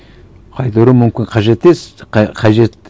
қайтару мүмкін қажет қажет